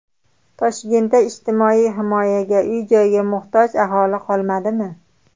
Toshkentda ijtimoiy himoyaga, uy-joyga muhtoj aholi qolmadimi?.